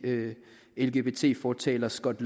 lgbt fortaler scott